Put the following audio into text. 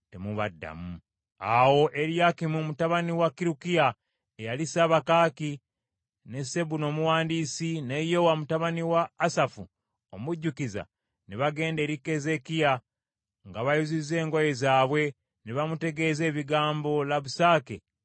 Awo Eriyakimu mutabani wa Kirukiya, eyali ssabakaaki, ne Sebuna omuwandiisi ne Yowa mutabani wa Asafu omujjukiza ne bagenda eri Keezeekiya nga bayuzizza engoye zaabwe, ne bamutegeeza ebigambo Labusake bye yali ayogedde.